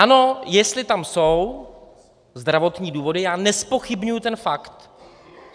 Ano, jestli tam jsou zdravotní důvody, já nezpochybňuji ten fakt.